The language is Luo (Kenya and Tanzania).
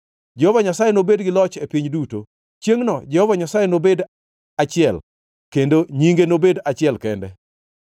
Jehova Nyasaye nobed gi loch e piny duto. Chiengʼno Jehova Nyasaye nobed achiel, kendo nyinge nobed achiel kende.